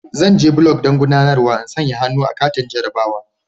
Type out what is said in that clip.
Zan je block don guɗanarwa in sanƴa hannu a katin jarrabawa.